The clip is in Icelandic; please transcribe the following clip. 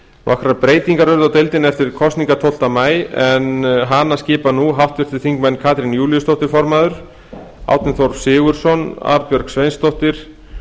nokkrar breytingar urðu á deildinni eftir kosningarnar tólfta maí en hana skipa nú háttvirtir þingmenn katrín júlíusdóttir formaður árni þór sigurðsson arnbjörg sveinsdóttir